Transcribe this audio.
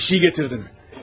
Sizə bir şey gətirdim.